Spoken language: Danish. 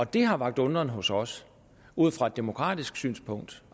det har vakt undren hos os ud fra et demokratisk synspunkt